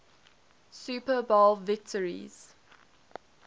super bowl victories